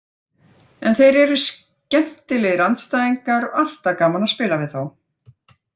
En þeir eru skemmtilegir andstæðingar og alltaf gaman að spila við þá.